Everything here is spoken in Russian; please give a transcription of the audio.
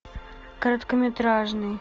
короткометражный